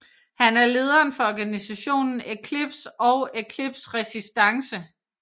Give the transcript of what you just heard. Han er lederen for organisationen Eklipse og Eklipse Resistance